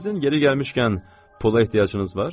Sizin yeri gəlmişkən pula ehtiyacınız var?